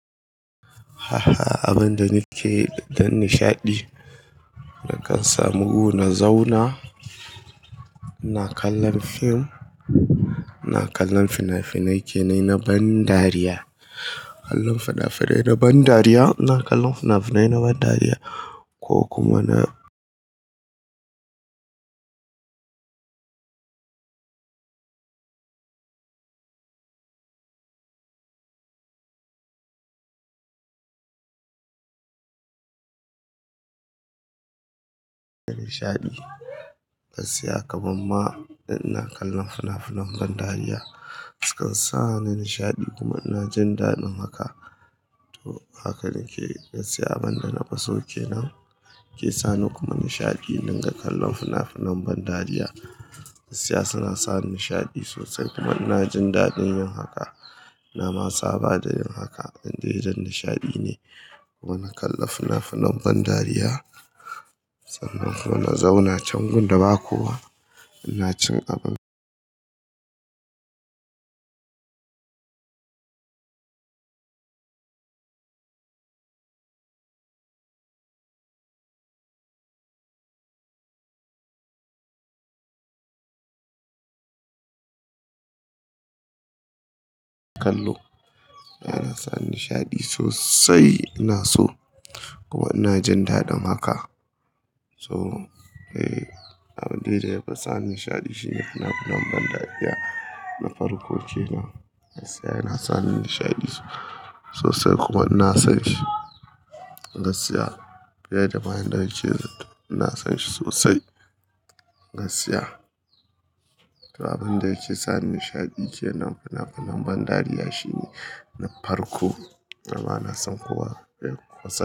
Haha, abin da nake don nishaɗi, na kan samu wurina zauna, na kallon fim, na kallon fina-finai kenan na ban dariya. Kallon fina-finai na ban dariya, na kallon fina-finai na ban dariya ko kuma na nishaɗi. Gaskiya kaman ma ina kallon fina-finan ban dariya, sukan sa ni nishaɗi kuma ina jin daɗin haka. To haka nake, gaskiya abin da na fi so kenan ke sani kuma nishaɗi idan ka kalla fina-finan ban dariya. Gaskiya suna sa ni nishaɗi sosai kuma ina jin daɗin yin haka. Na ma tsaba da yin haka, abin da ya jan nishaɗi ne. Kuma na kalla fina-finan ban dariya, sannan kuma na zauna can gun da ba kowa, ina cin abin kallo. Yana sa ni nishaɗi sosai, ina so. Kuma ina jin daɗin haka. Toh, eh abin da ya fi sa ni nishaɗi shine fina-finan ban dariya. Na farko kenan, gaskiya yana sani nishaɗi sosai kuma ina son shi. Gaskiya fiye da bayan da yake zaton, ina son shi sosai. Gaskiya. To abin da yake sa ni nishaɗi kenan fina-finan ban dariya shine na farko, amma ina son kuwa ya kosa.